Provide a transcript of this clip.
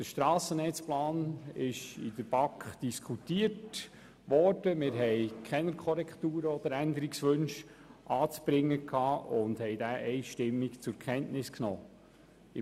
Der Strassennetzplan ist in der BaK diskutiert worden, und wir haben keine Korrekturen oder Änderungswünsche anzubringen gehabt, sodass wir diesen einstimmig zur Kenntnis genommen haben.